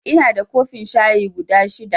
Inada kofin shayi guda shida